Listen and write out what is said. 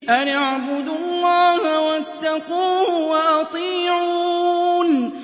أَنِ اعْبُدُوا اللَّهَ وَاتَّقُوهُ وَأَطِيعُونِ